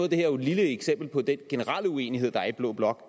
det her jo et lille eksempel på den generelle uenighed der er i blå blok